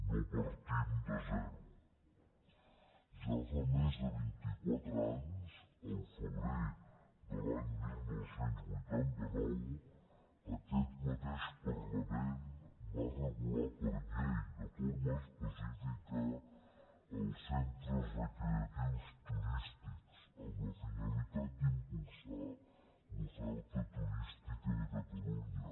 no partim de zero ja fa més de vint i quatre anys al febrer de l’any dinou vuitanta nou aquest mateix parlament va regular per llei de forma específica els centres recreatius turístics amb la finalitat d’impulsar l’oferta turística de catalunya